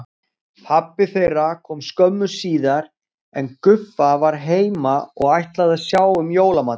Pabbi þeirra kom skömmu síðar en Guffa var heima og ætlaði að sjá um jólamatinn.